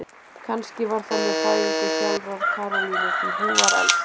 Kannski var það með fæðingu sjálfrar Karolínu, því hún var elst.